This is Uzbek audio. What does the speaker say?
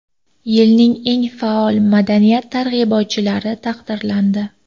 Yilning eng faol ma’naviyat targ‘ibotchilari taqdirlandi.